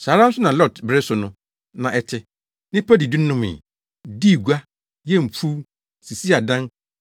“Saa ara nso na Lot bere so no, na ɛte. Nnipa didi nomee, dii gua, yɛɛ mfuw, sisii adan,